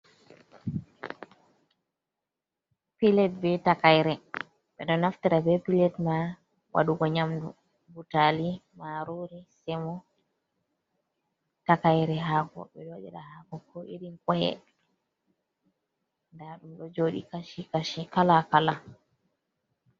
Pilet be takaire. Be ɗo naftira be pilet ma wadugo nƴamdu, butaali, maarori, semo. Takaire hako, ɓe ɗo waɗira hako ko irin koye. Nda ɗum ɗo joɗi kashi-kashi kala-kala.